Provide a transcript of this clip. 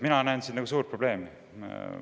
Mina näen siin suurt probleemi.